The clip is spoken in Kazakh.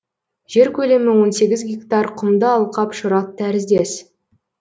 жер көлемі он сегіз гектар құмды алқап шұрат тәріздес